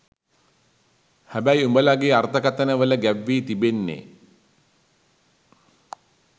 හැබැයි උබලගේ අර්ථකතන වල ගැබ්වී තිබෙන්නේ